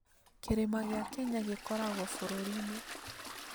Kĩrĩma gĩa Kenya gĩkoragwo bũrũri-inĩ ?